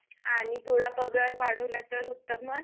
आणि थोडा पगार वाढवला तर उत्तमच